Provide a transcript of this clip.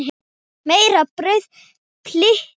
Meira brauð, piltar?